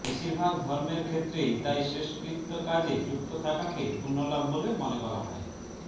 বেশিরভাগ ধর্মের ক্ষেত্রেই তাই শেষকৃত্য কাজে যুক্ত থাকাকে পুণ্যলাভ বলে মনে করা হয়